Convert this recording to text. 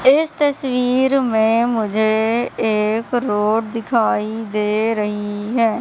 इस तस्वीर में मुझे एक रोड दिखाई दे रही है।